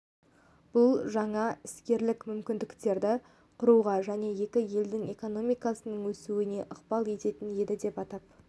бұл жаңа іскерлік мүмкіндіктерді құруға және екі елдің экономикасының өсуіне ықпал ететін еді деп атап